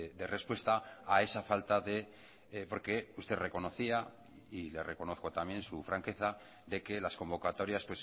de respuesta a esa falta de porque usted reconocía y le reconozco también su franqueza de que las convocatorias